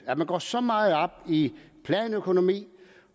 at man går så meget op i planøkonomi